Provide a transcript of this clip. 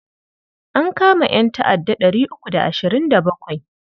An kama ƴanta'adda ɗari uku da ashirin da bakwai.